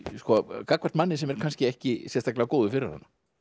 gagnvart manni sem er kannski ekki sérstaklega góður fyrir hana